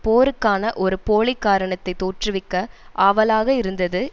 போருக்கான ஒரு போலி காரணத்தை தோற்றுவிக்க ஆவலாக இருந்தது